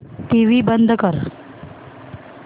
TV बंद कर